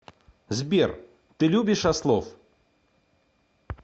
сбер ты любишь ослов